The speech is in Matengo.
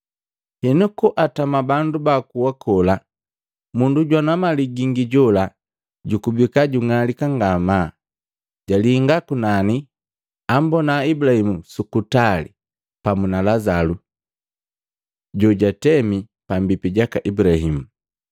Henu koatama bandu ba akuwa kola, mundu jwana mali gingi jola jukubika jung'alika ngamaa, jalinga kunani, ambona Ibulahimu su kutali pamu na Lazalu jojatemi pambipi jaka Ibulahimu.